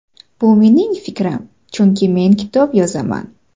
Bu mening fikrim, chunki men kitob yozaman.